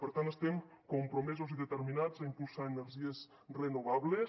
per tant estem compromesos i determinats a impulsar energies renovables